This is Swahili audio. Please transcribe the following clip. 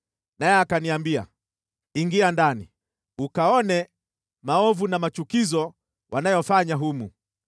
Naye akaniambia, “Ingia ndani, ukaone maovu na machukizo wanayofanya humu.”